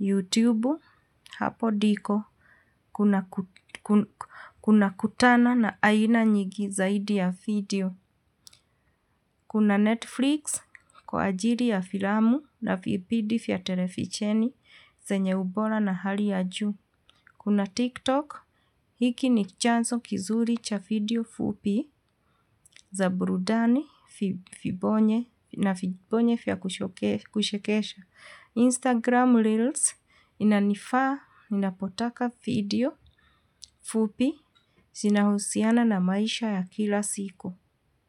YouTube, hapo diko, kuna kutana na aina nyingi zaidi ya video. Kuna Netflix, kwa ajiri ya filamu na PDF ya televisheni, zenye ubora na hali ya juu. Kuna TikTok, hiki ni chanzo kizuri cha video fupi za burudani na vibonye vya kuchekesha. Instagram Reels, inanifaa, inapotaka video fupi, zinahusiana na maisha ya kila siku.